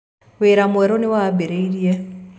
Wĩra mwerũ nĩ wambĩrĩirie.